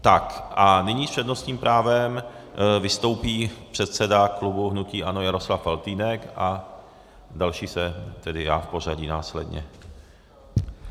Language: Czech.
Tak a nyní s přednostním právem vystoupí předseda klubu hnutí ANO Jaroslav Faltýnek a další jsem tedy já v pořadí následně.